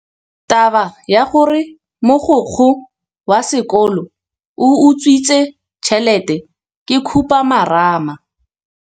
Taba ya gore mogokgo wa sekolo o utswitse tšhelete ke khupamarama.